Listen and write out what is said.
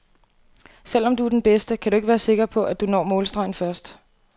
Selvom du er den bedste, kan du ikke være sikker på, at du når målstregen først.